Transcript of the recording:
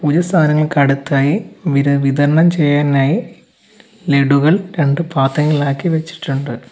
സാധങ്ങൾക്കടുത്തായി വിര വിതരണം ചെയ്യാനായി ലെഡുകൾ രണ്ട് പാത്രങ്ങളിലാക്കി വെച്ചിട്ടുണ്ട്.